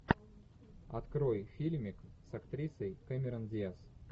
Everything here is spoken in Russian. открой фильмик с актрисой кэмерон диаз